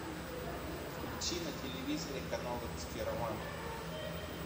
включи на телевизоре канал русский роман